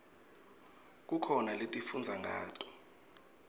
kukhona lesifundza ngato